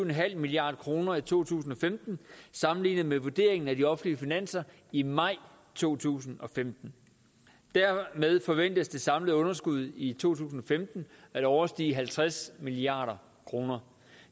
milliard kroner i to tusind og femten sammenlignet med vurderingen af de offentlige finanser i maj to tusind og femten dermed forventes det samlede underskud i to tusind og femten at overstige halvtreds milliard kroner